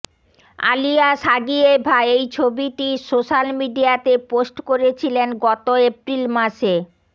Alia Shagiyeva এই ছবিটি social মিডিয়াতে পোস্ট করেছিলেন গত এপ্রিল মাসে